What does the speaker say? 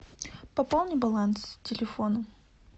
пополни баланс телефона